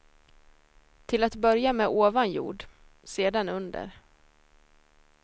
Till att börja med ovan jord, sedan under.